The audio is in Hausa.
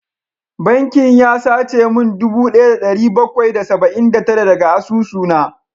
Bankin ya sace min dubu daya da dari bakwai da saba’in da tara daga asusuna